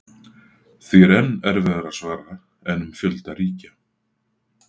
Því er enn erfiðara að svara en um fjölda ríkja.